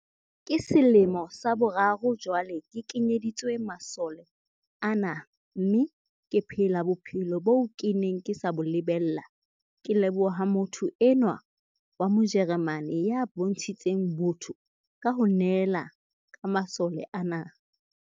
"Ke selemo sa boraro jwale ke kenyeditswe masole ana mme ke phela bophelo boo ke neng ke sa bo lebella, ke leboha motho enwa wa Mo jeremane ya bontshitseng botho ka ho nehela ka masole ana."